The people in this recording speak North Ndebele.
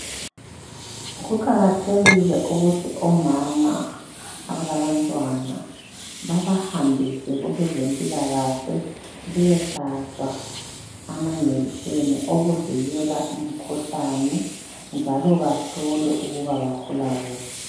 kuqkathekile ukuthi omama abalabantwana babahambise kwabezempilakahle beyehlatshwa amajekiseni okuvikela imikhuhlane njalo bahlolwe ukuba bakhula kuhle